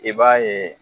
I b'a ye